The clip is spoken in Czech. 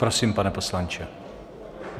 Prosím, pane poslanče.